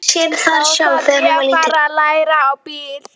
Þá þarf ég að fara að læra á bíl.